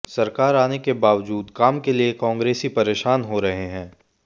सरकार आने के बावजूद काम के लिए कांग्रेसी परेशान हो रहे हैं